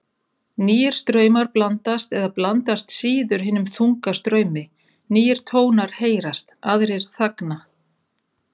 Nýir straumar blandast eða blandast síður hinum þunga straumi, nýir tónar heyrast, aðrir þagna.